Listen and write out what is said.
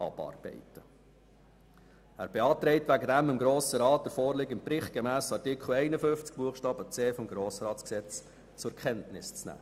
Er beantragt deshalb dem Grossen Rat, den vorliegenden Bericht gemäss Artikel 51, Buchstabe c des Gesetzes über den Grossen Rat (Grossratsgesetz, GRG) zur Kenntnis zu nehmen.